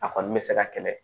A kɔni bɛ se ka kɛlɛ